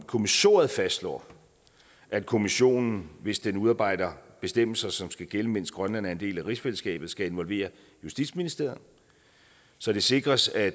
kommissoriet fastslår at kommissionen hvis den udarbejder bestemmelser som skal gælde mens grønland er en del af rigsfællesskabet skal involvere justitsministeriet så det sikres at